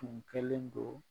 Kun kɛlen don